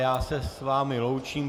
Já se s vámi loučím.